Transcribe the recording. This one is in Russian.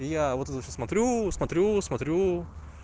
и я вот сейчас смотрю смотрю смотрю